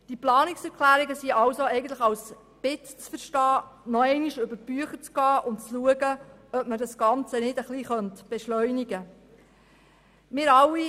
Die Planungserklärungen sind als Bitte zu verstehen, nochmals über die Bücher zu gehen und zu schauen, ob man das Ganze nicht etwas beschleunigen könnte.